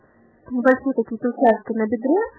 уроки